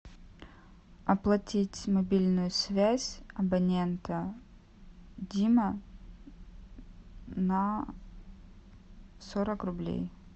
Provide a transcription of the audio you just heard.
оплатить мобильную связь абонента дима на сорок рублей